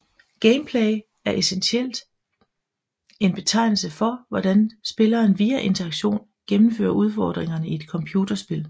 Gameplay er essentielt en betegnelse for hvordan spilleren via interaktion gennemfører udfordringerne i et computerspil